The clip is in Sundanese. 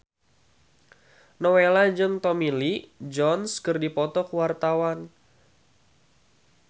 Nowela jeung Tommy Lee Jones keur dipoto ku wartawan